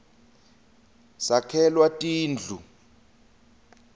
sakhelwa tindu